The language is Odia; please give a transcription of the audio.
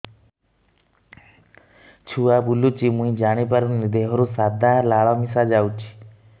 ଛୁଆ ବୁଲୁଚି ମୁଇ ଜାଣିପାରୁନି ଦେହରୁ ସାଧା ଲାଳ ମିଶା ଯାଉଚି